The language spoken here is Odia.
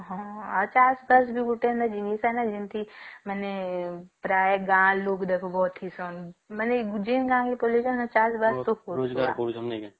ହଁ ଆଉ ଚାଷ ବାସ ବି ଗୋଟେ ଜିନିଷ ଆନେ ଜେନ୍ତି ମାନେ ପ୍ରାୟେ ଗାଁ ଲୋକ ଦେଖ ଗଠି ସନ